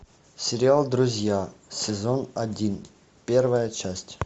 сериал друзья сезон один первая часть